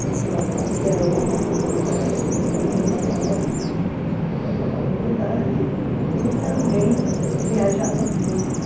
nesse local que era outra comunidade, era a mesma paróquia, mas outra comunidade, e também viajava muito.